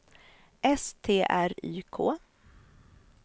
S T R Y K